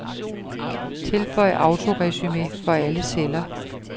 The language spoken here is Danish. Tilføj autoresumé for alle celler.